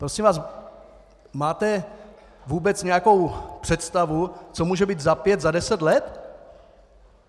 Prosím vás, máte vůbec nějakou představu, co může být za pět, za deset let?